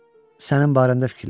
Sənin barəndə fikirləşirəm.